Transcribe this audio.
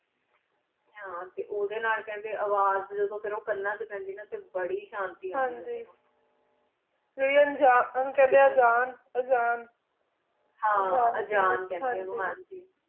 ਹਨ ਟੀ ਉਦਯ ਨਾਲ ਕਾਂਡੀ ਅਵਾਜ਼ ਜਾਦੁਨ ਓਕਾਨਾ ਚ ਪੈਂਦੀ ਟੀ ਬਰੀ ਹੇ ਸ਼ਾਂਤੀ ਉਂਦੀ ਹਨ ਜੀ ਕਈ ਵਾਰੀ ਕਹਨ ਜਾਨ ਅਜਾਨ ਹਨ ਅਜਾਨ ਖੜੀ ਆ